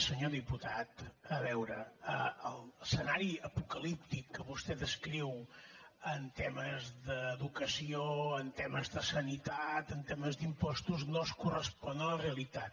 senyor diputat a veure l’escenari apocalíptic que vostè descriu en temes d’educació en temes de sanitat en temes d’impostos no es correspon a la realitat